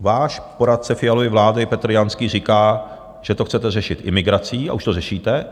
Váš poradce Fialovy vlády Petr Janský říká, že to chcete řešit imigrací, a už to řešíte.